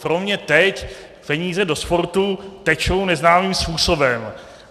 Pro mě teď peníze do sportu tečou neznámým způsobem.